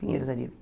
Pinheiros, ali.